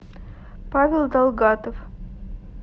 павел далгатов